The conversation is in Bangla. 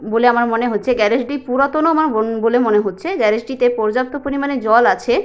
বলে আমার মনে হচ্ছে গ্যারেজ টি পুরাতনও উম মনে হচ্ছে গ্যারেজ টিতে পর্যাপ্ত পরিমানে জল আছে।